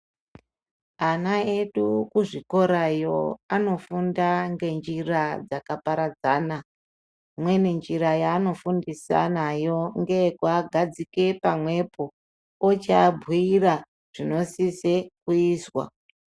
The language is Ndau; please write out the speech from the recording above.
Ana edu kuzvikorayo anofunda ngenjira dzakaparadzana imweni njira yaanofundisa nayo ngeyekuagadzika pamwepo ochiabhuira zvinosise kuizwa.